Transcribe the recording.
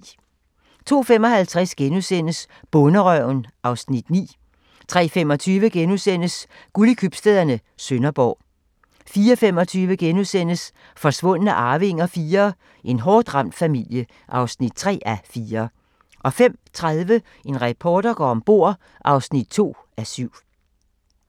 02:55: Bonderøven (Afs. 9)* 03:25: Guld i købstæderne - Sønderborg * 04:25: Forsvundne arvinger IV: En hårdt ramt familie (3:4)* 05:30: En reporter går om bord (2:7)